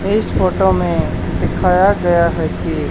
इस फोटो में दिखाया गया है कि--